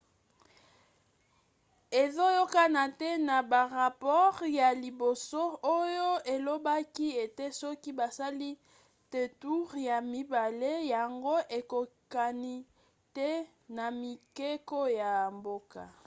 ezoyokana te na barapore ya liboso oyo elobaki ete soki basali te toure ya mibale yango eyokani te na mibeko ya mboka